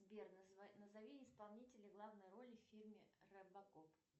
сбер назови исполнителя главной роли в фильме робокоп